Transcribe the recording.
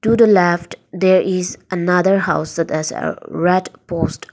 to the left there is another house there is a red post.